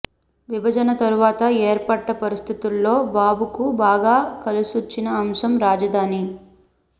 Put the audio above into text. విభజన తరువాత ఏర్పడ్డ పరిస్థితుల్లో బాబు కు బాగా కలిసొచ్చిన అంశం రాజధాని